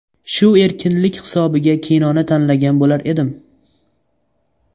Shu erkinlik hisobiga kinoni tanlagan bo‘lar edim.